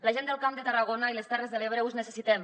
la gent del camp de tarragona i les terres de l’ebre us necessitem